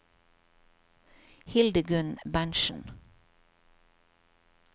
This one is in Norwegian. Hildegunn Berntzen